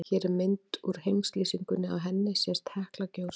Hér er mynd úr heimslýsingunni, á henni sést Hekla gjósa.